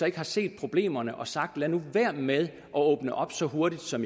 ikke har set problemerne og sagt at man være med at åbne op så hurtigt som